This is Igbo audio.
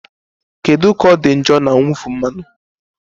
Kedu ka ọ dị njọ na mwụfu mmanụ?